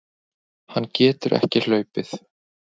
Hann getur ekki hlaupið.